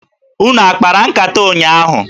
Unu a kpara nkata ụnyaahụ?